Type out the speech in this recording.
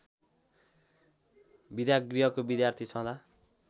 विद्यागृहको विद्यार्थी छँदा